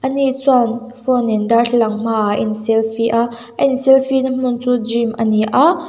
ni chuan afro nen darthlalang hmaah a in selfie a a in selfie na hmun chu gym ani a.